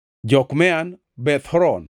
Jokmeam, Beth Horon,